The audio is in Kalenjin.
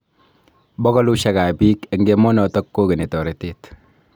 Bokolushek ab bik eng emonotok kokeni toretet.